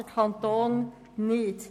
Der Kanton tut dies nicht.